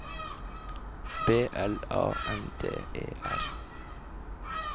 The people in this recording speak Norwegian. B L A N D E R